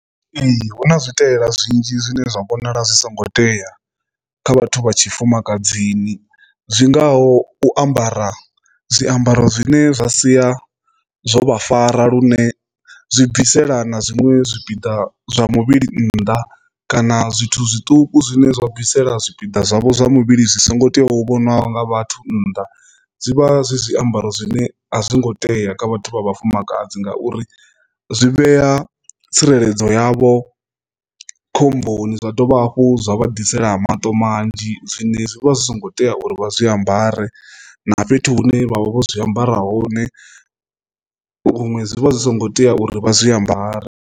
Ee, hu na zwiitela zwinzhi zwine zwa vhonala zwi songo tea kha vhathu vha tshifumakadzini zwi ngaho u ambara zwiambaro zwine zwa sia zwo vha fara lune zwi bvisela na zwiṅwe zwipiḓa zwa muvhili nnḓa, kana zwithu zwiṱuku zwine zwa bvisela zwipiḓa zwavho zwa muvhili zwi songo tea hu vhoniwa nga vhathu nnḓa, zwi vha zwi zwiambaro zwine a zwongo tea kha vhathu vha vhafumakadzi, ngauri zwi vhea tsireledzo yavho khomboni zwa dovha hafhu zwa vha ḓisela ha maṱo manzhi zwine zwi vha zwi songo tea uri vha zwi ambare na fhethu hune vha vha vho zwi ambara hone huṅwe zwi vha zwi songo tea uri vha zwi ambare.